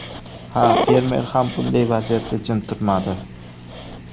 Ha, fermer ham bunday vaziyatda jim turmadi.